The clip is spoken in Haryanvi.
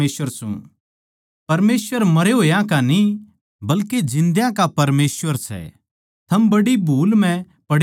परमेसवर मरे होया का न्ही बल्के जिन्दयां का परमेसवर सै थम बड्डी भूल म्ह पड़े सो